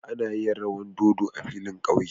Ana yin rawan dodo a filin ƙauye.